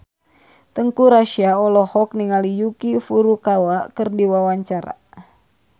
Teuku Rassya olohok ningali Yuki Furukawa keur diwawancara